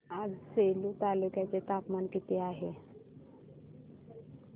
आज सेलू तालुक्या चे तापमान किती आहे